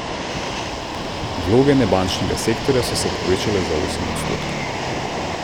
Vloge nebančnega sektorja so se povečale za osem odstotkov.